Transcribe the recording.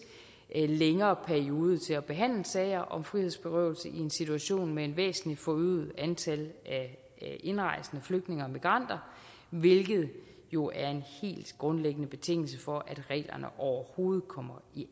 længere periode til at behandle sager om frihedsberøvelse i i en situation med et væsentlig forøget antal indrejsende flygtninge og migranter hvilket jo er en helt grundlæggende betingelse for at reglerne overhovedet kommer i